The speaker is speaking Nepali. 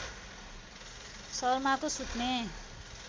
शर्माको सुत्ने